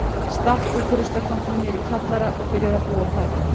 Stakk út úr ruslakompunni niðri í kjallara og byrjaði að búa þar.